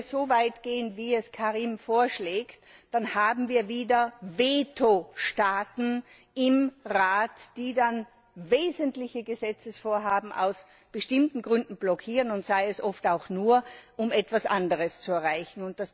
Wenn wir so weit gehen, wie es Karim vorschlägt, dann haben wir wieder Vetostaaten im Rat, die dann wesentliche Gesetzesvorhaben aus bestimmten Gründen blockieren, und sei es oft auch nur, um etwas anderes zu erreichen.